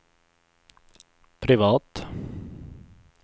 privat